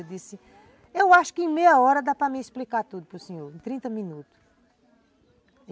Eu disse, eu acho que em meia hora dá para me explicar tudo para o senhor, em trinta minutos.